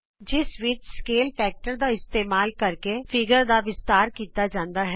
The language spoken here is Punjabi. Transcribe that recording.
ਜਿਸ ਵਿਚ ਮਾਪ ਗੁਣਕ ਦਾ ਇਸਤੇਮਾਲ ਕਰਕੇ ਚਿੱਤਰ ਦਾ ਵਿਸਤਾਰ ਕੀਤਾ ਜਾਂਦਾ ਹੈ